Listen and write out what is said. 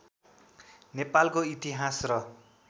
नेपालको इतिहास र